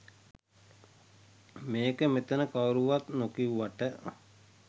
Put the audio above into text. මේක මෙතන කවුරුවත් නොකිව්වට